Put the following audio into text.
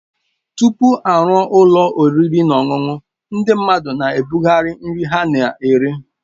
Tupu a rụọ ụlọ oriri na ọṅụṅụ, ndị mmadụ na-ebugharị nri ha na-ere.